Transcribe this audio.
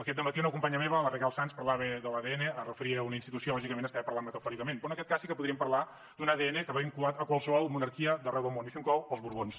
aquest dematí una companya meva la raquel sans parlava de l’adn es referia a una institució lògicament estava parlant metafòricament però en aquest cas sí que podríem parlar d’un adn que va vinculat a qualsevol monarquia d’arreu del món i això inclou els borbons